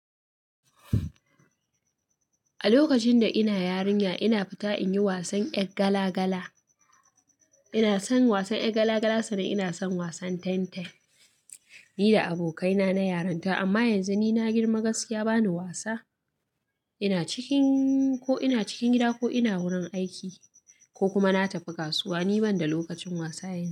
A lokacin da ina yarinya ina fita in yi wasan ƴar gala gala. Inason wasan ƴar gala gala saboda inason wasan dambe nida abokaina na yarinta amma yanzu nina girma gaskiya bana wasa ina cikin ko ina cikin gida ko ina wurin aiki ko kuma na tafi kasuwa ni banda lokacin wasa yanzu.